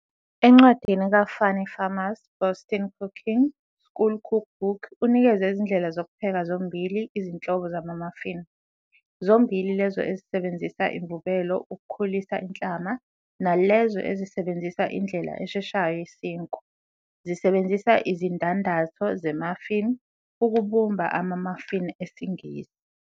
Encwadini kaFannie Farmer 's "Boston Cooking-School Cook Book", unikeze izindlela zokupheka zombili izinhlobo zama-muffin, zombili lezo ezisebenzisa imvubelo ukukhulisa inhlama nalezo ezisebenzisa indlela esheshayo yesinkwa, zisebenzisa izindandatho ze -muffin ukubumba ama-muffin esiNgisi.